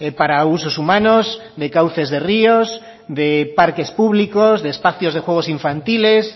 para usos humanos de cauces de ríos de parques públicos de espacios de juegos infantiles